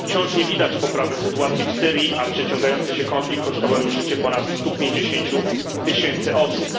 Wciąż nie widać poprawy sytuacji w Syrii, a przeciągający się konflikt kosztował już życie ponad 150 tysięcy osób.